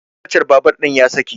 kacar babur ɗin ta saki